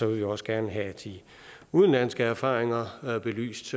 vil vi også gerne have de udenlandske erfaringer belyst